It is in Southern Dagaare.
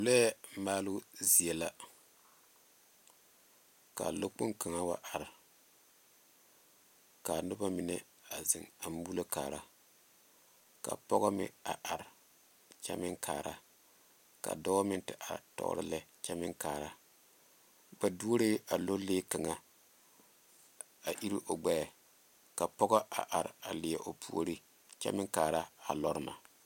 Lɔɛ maaloo zie la kaa lɔ kpoŋ kaŋa wa are kaa nobo mine wa zeŋ a moɔlo kaara ka pɔge meŋ a are kyɛ meŋ kaara ka dɔɔ meŋ te are tɔɔre lɛ kyɛ meŋ kaara ba doree a lɔ lee kaŋa a iro a iri o gbeɛ ka pɔge a are leɛ o puori kyɛ meŋ are a lɔre na.